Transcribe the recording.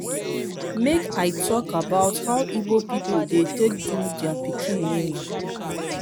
make i tok about how igbo pipol dey take do dia pikin naming ceremony